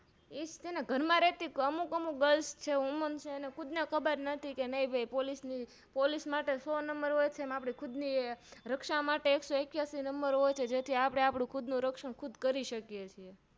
એજ છેને ઘરમાં રેતી અમુક અમુક Grils છે Woman છે એમને ખુદને ખબર નથી કે નહી ભાઈ Police માટે સો Number હોય છે ખુદની રક્ષણ માટે એક સો એકીયાશી Number હોય છે જેથી આપણે ખુદનું રક્ષણ ખુદ કરી શકીએ છીએ